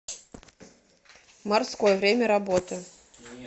морской время работы